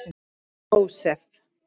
Jósef